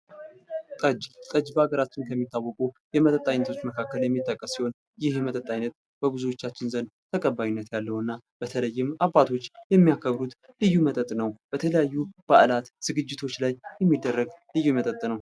ጠጅ በሀገራችን ከሚታወቁ ባህላዊ መጠጦች መካከል የሚጠቀስ ሲሆን ይህ የመጠጥ አይነት በብዙዎቻችን ተባይነት ያለው እና በተለይም አባቶች የሚያከብሩት ልዩ መጠጥ ነው። የተለያዩ ባህሎች ዝግጅቶች ላይ የሚደረግ ልዩ መጠጥ ነው።